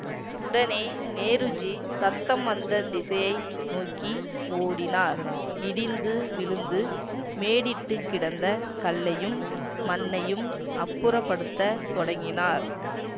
உடனே நேருஜி சத்தம் வந்த திசையை நோக்கி ஓடினார் இடிந்து விழுந்து மேடிட்டுக் கிடந்த கல்லையும் மண்ணையும் அப்புறப்படுத்தத் தொடங்கினார்